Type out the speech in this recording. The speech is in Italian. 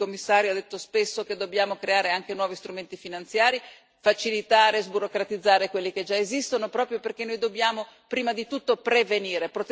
Per cui il Commissario ha detto spesso che dobbiamo creare anche nuovi strumenti finanziari, facilitare, sburocratizzare quelli che già esistono proprio perché noi dobbiamo prima di tutto prevenire.